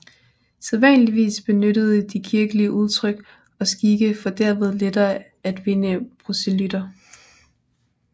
Sædvanligvis benyttede de kirkelige udtryk og skikke for derved lettere at vinde proselytter